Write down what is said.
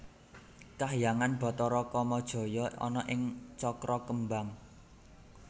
Kahyangan Bathara Kamajaya ana ing Cakrakembang